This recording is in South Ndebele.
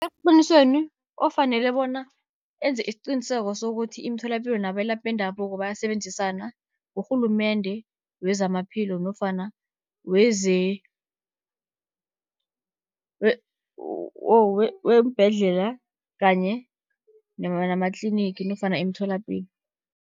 Eqinisweni ofanele bona enze isiciniseko, sokuthi imitholapilo nabelaphi bendabuko bayasebenzisana ngurhulumende wezamaphilo, nofana weembhedlela kanye namatlinigi nofana imitholapilo.